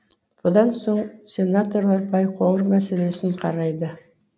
бұдан соң сенаторлар байқоңыр мәселесін қарайды